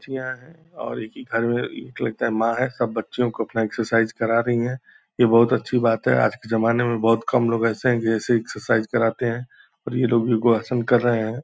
चीयाँ है और एक ही घर में लगता है माँ है सब बच्चों को अपना एक्सरसाइज करा रही हैं यह बहुत अच्छी बात है आज के जमाने में बहुत कम लोग ऐसे हैं जैसे एक्सरसाइज कराते हैं और ये लोग भी वो आसन कर रहे हैं ।